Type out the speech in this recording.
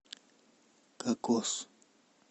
кокос